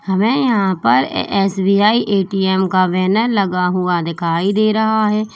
हमें यहां पर एस_बी_आई ए_टी_एम का बैनर लगा हुआ दिखाई दे रहा है।